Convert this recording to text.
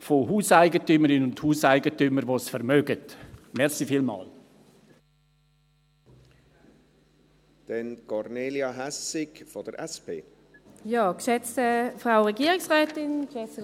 von Hauseigentümerinnen und Hauseigentümern, die es sich leisten können, angewiesen sind.